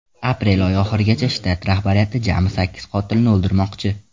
Aprel oyi oxirigacha shtat rahbariyati jami sakkiz qotilni o‘ldirmoqchi.